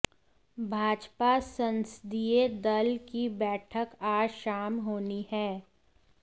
भाजपा संसदीय दल की बैठक आज शाम होनी है